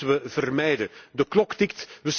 Dat moeten we vermijden. De klok tikt.